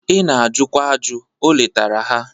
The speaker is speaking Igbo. Ị na-ajụkwa ajụ, o letara ha.